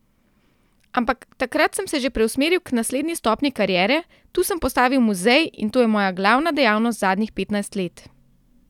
Ampak takrat sem se že preusmeril k naslednji stopnji kariere, tu sem postavil muzej in to je moja glavna dejavnost zadnjih petnajst let.